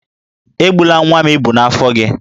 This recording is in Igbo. Egbula nwa m ịbụ n'afọ gị!